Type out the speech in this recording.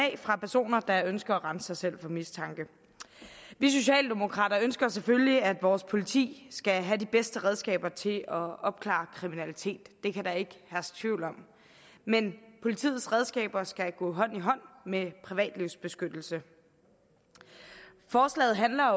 fra personer der ønsker at rense sig selv for mistanke vi socialdemokrater ønsker selvfølgelig at vores politi skal have de bedste redskaber til at opklare kriminalitet det kan der ikke herske tvivl om men politiets redskaber skal gå hånd i hånd med privatlivsbeskyttelse forslaget handler